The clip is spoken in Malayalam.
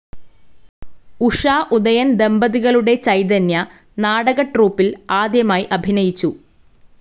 ഉഷ ഉദയൻ ദമ്പതികളുടെ ചൈതന്യ നാടക ട്രൂപ്പിൽ ആദ്യമായി അഭിനയിച്ചു.